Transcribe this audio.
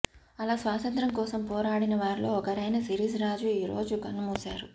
అలా స్వాంతంత్ర్యం కోసం పోరాడిన వారిలో ఒకరైన సిరీస్ రాజు ఈ రోజు కన్నుమూశారు